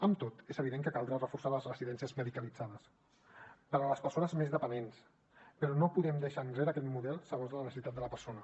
amb tot és evident que caldrà reforçar les residències medicalitzades per a les persones més dependents però no podem deixar enrere aquest model segons les necessitats de la persona